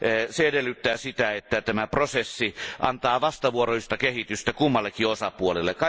Se edellyttää sitä, että tämä prosessi antaa vastavuoroista kehitystä kummallekin osapuolelle.